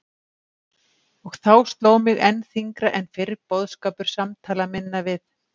Og þá sló mig enn þyngra en fyrr boðskapur samtala minna við